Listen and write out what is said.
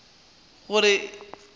gore o tle o mo